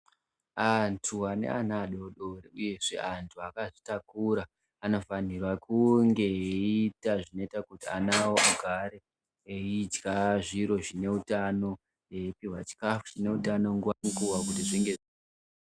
Antu ane ana adodori uyezve antu akazvitakura anofanirwa kunge eiita zvinoita kuti ana awo agare eidya zviro zvine utano eipihwa chikaafu chine utano nguwa ngenguwa kuti zvinge